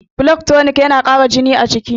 blood tonic yana Kara jini a jiki